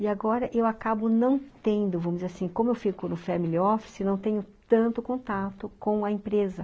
E agora eu acabo não tendo, vamos dizer assim, como eu fico no family office, não tenho tanto contato com a empresa.